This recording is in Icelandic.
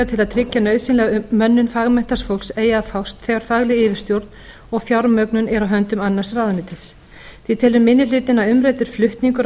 til að tryggja nauðsynlega mönnun fagmenntaðs fólks eigi að fást þegar fagleg yfirstjórn og fjármögnun er á höndum annars ráðuneytis því telur minni hlutinn að umræddur flutningur á